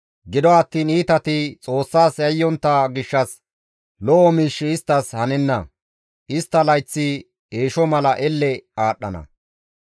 Gido attiin iitati Xoossas yayyontta gishshas lo7o miishshi isttas hanenna; istta layththi eesho mala elle aadhdhana.